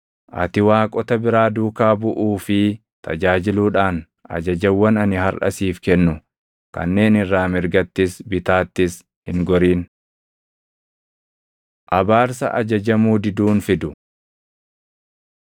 Ati waaqota biraa duukaa buʼuu fi tajaajiluudhaan ajajawwan ani harʼa siif kennu kanneen irraa mirgattis bitaattis hin gorin. Abaarsa Ajajamuu Diduun Fidu